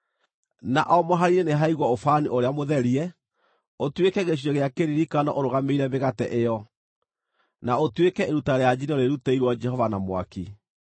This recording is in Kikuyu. Na o mũhari-inĩ nĩhaigwo ũbani ũrĩa mũtherie ũtuĩke gĩcunjĩ gĩa kĩririkano ũrũgamĩrĩire mĩgate ĩyo, na ũtuĩke iruta rĩa njino rĩrutĩirwo Jehova na mwaki.